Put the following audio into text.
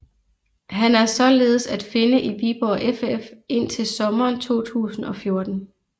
Han er således at finde i Viborg FF indtil sommeren 2014